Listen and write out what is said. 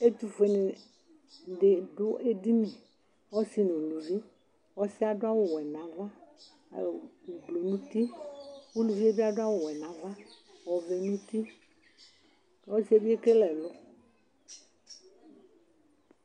ɛtʊfuedɩnɩ dʊ edini, ɔsi nʊ uluvi, ɔsi yɛ adʊ wɛ n'ava, ɛkʊ fue dʊ nʊ uti, uluvi yɛ ta adʊ awu wɛ n'ava nʊ ofue nʊ uti, ɔsi yɛ ekele ɛlʊ